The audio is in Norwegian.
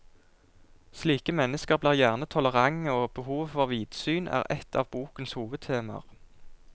Slike mennesker blir gjerne tolerante, og behovet for vidsyn er ett av bokens hovedtemaer.